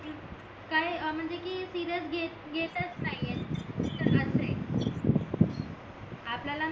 काय म्हणजे कि सिरीयस सिरीयस घेतच नाही ऐ आपल्याला